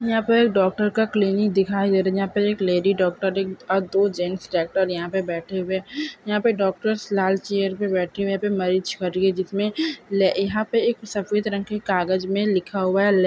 यहाँ पर डॉक्टर का क्लिनिक दीखाई दे रहे है जहा पे एक लेडी डॉक्टर और एक और दो जेंट्स डॉक्टर यहाँ पे बैठे हुए यहा पे डॉक्टर्स लाल चेयर पे बैठे हुए है यहाँ पे मरीज मर गई जिसमे यहाँ पे एक सफेद रंग के कागज मे लिखा हुआ है ले--